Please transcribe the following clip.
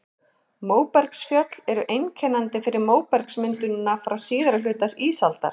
Móbergsfjöll eru einkennandi fyrir móbergsmyndunina frá síðari hluta ísaldar.